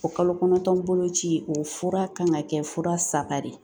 O kalo kɔnɔntɔn boloci o fura kan ka kɛ fura saba de ye